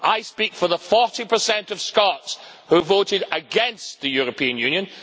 I speak for the 40 of Scots who voted against the European Union.